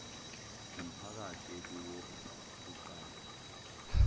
ngumphakathi ekuwo kuqalwe